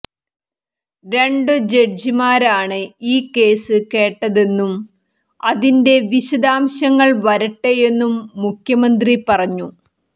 രണ്ടു ജഡ്ജിമാരാണ് ഈ കേസ് കേട്ടതെന്നും അതിന്റെ വിശദാംശങ്ങൾ വരട്ടെയെന്നും മുഖ്യമന്ത്രി പറഞ്ഞു